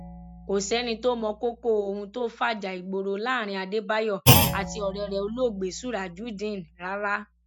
kò sẹni tó mọ kókó ohun tó fajà ìgboro láàrin adébáyò àti ọrẹ rẹ olóògbé surajudeen rárá